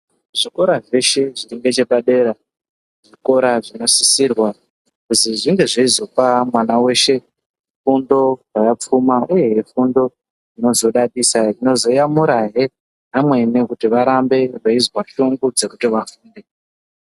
Zvikora zveshe zviringechepadera zvinosisirwa kuti zvinge zveizopa mwana weshe fundo yakapfuma uyehe fundo inozoyamurahe vamweni kuti varambe veizwa shungu yekuti vafunde.